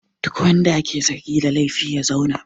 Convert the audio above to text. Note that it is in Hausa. Duk wanda ake zargi da laifi ya zauna!